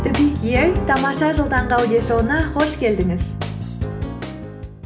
тамаша жыл таңғы аудиошоуына қош келдіңіз